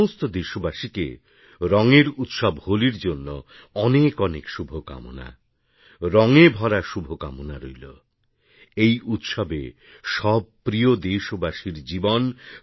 সমস্ত দেশবাসীকে রঙের উৎসবহোলির জন্য অনেক অনেক শুভকামনা রঙে ভরা শুভকামনা রইল এই উৎসবে সব প্রিয় দেশবাসীরজীবন